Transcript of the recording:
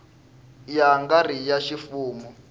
ya nga ri ya ximfumo